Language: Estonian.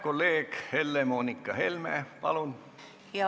Kolleeg Helle-Moonika Helme, palun!